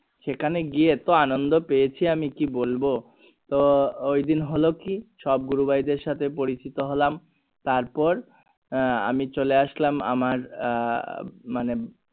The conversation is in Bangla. সেখানে গিয়ে এতো আনন্দ পেয়েছি আমি কি বলবো তো ঐদিন হলো কি সবাই গুরু ভাই দরে সাথে পরিচিত হলাম তারপর আহ আমি চিনলে আসলাম আমার আহ মানে